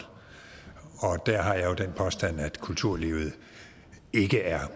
der har jeg jo den påstand at kulturlivet ikke er